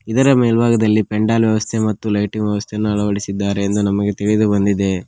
ಇದರ ಮೇಲ್ಭಾಗದಲ್ಲಿ ಪೆಂಡಾಲ್ ವ್ಯವಸ್ಥೆ ಮತ್ತು ಲೈಟಿಂಗ್ ವ್ಯವಸ್ಥೆಯನ್ನು ಅಳವಡಿಸಿದ್ದಾರೆ ಎಂದು ನಮಗೆ ತಿಳಿದು ಬಂದಿದೆ.